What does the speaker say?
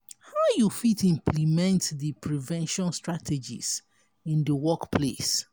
how you fit implement di prevention strategies in di workplace?